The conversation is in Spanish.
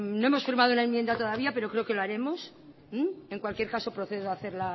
no hemos firmado la enmienda todavía pero creo que lo haremos en cualquier caso procedo a hacer